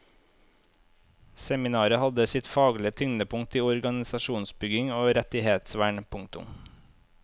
Seminaret hadde sitt faglige tyngdepunkt i organisasjonsbygging og rettighetsvern. punktum